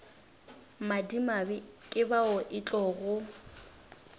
madimabe ke bao e tlogo